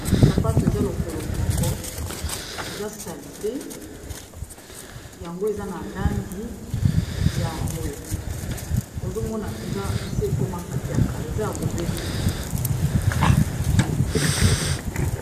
Sapato eza lokolo moko eza salite yango eza na langi ya mbwe, ozo mona eza esi ekomaka ya kala eza ya ko betela.